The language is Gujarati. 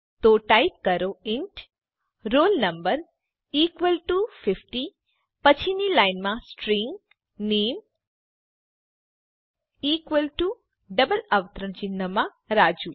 તો ટાઈપ કરો int roll no equal to 50 પછીની લાઈનમાં સ્ટ્રીંગ નામે ઇકવલ ટુ ડબલ અવતરણ ચિહ્નમાં રાજુ